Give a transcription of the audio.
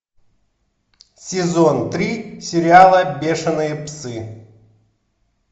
сезон три сериала бешеные псы